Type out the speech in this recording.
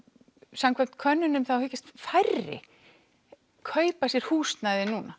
samkvæmt könnunum þá hyggjast færri kaupa sér húsnæði núna